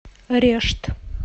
решт